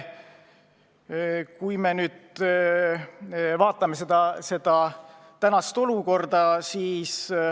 Vaadakem nüüd tänast olukorda.